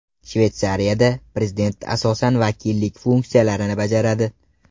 Shveysariyada prezident asosan vakillik funksiyalarini bajaradi.